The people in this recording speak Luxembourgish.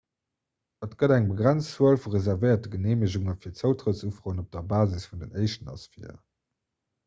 et gëtt eng begrenzt zuel vu reservéierte geneemegunge fir zoutrëttsufroen op der basis vun den éischten ass vir